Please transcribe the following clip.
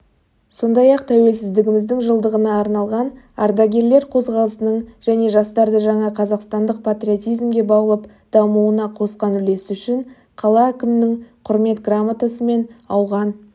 сондай-қ тәуелсіздігіміздің жылдығына арналған ардагерлер қозғалысының және жастарды жаңа қазақстандық патриотизмге баулып дамуына қосқан үлесі үшін қала әкімінің құрмет грамотасымен ауған